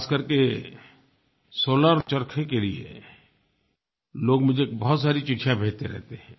ख़ास करके सोलार चरखे के लिए लोग मुझे बहुत सारी चिट्ठियाँ भेजते रहते हैं